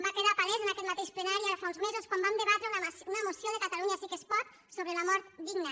va quedar palès en aquest mateix plenari ara fa uns mesos quan vam debatre una moció de catalunya sí que es pot sobre la mort digna